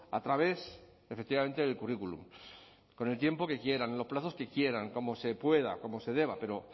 a través efectivamente del currículum con el tiempo que quieran en los plazos que quieran como se pueda como se deba pero